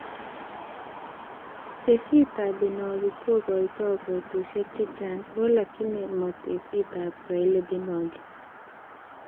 Tesisyitab Binogi kokotoi kotushek chechang alakini ma tesisyitab Swahili Binogi